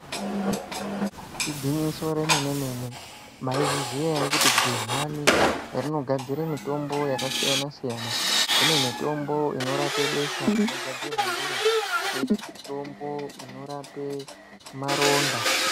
Igwinyiso remene mene maizviziya ere kut gedhlani rinogadzire mitombo yakasiyana siyana kune mitombo inorape besha inogadzirwa ndiro koite mitombo inorape maronda.